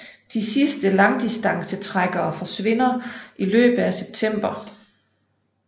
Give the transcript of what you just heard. De sidste langdistancetrækkere forsvinder i løbet af september